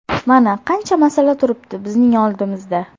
Mana qancha masala turibdi bizning oldimizda.